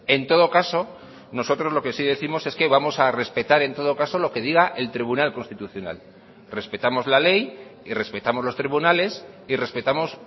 en todo caso nosotros lo que sí décimos es que vamos a respetar en todo caso lo que diga el tribunal constitucional respetamos la ley y respetamos los tribunales y respetamos